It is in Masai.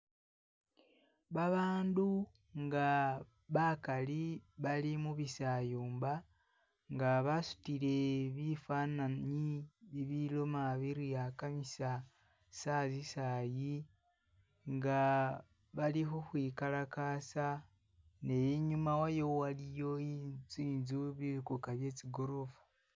Babandu nga bakali bali mubisayumba nga basutile bifanani bibiloma biri akamisa sazi sayi nga balikhukhwikalakasa ne'inyuma wayo waliyo intsu tsintsu bikuka bye tsi'group